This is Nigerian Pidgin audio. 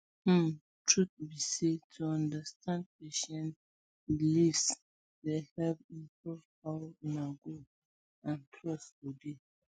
um truth be say to understand patient beliefs dey help improve how una go and trust go dey